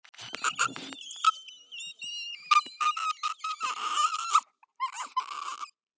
Það hefði toppað allt.